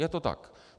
Je to tak.